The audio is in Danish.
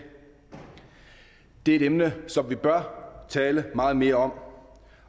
er et emne som vi bør tale meget mere om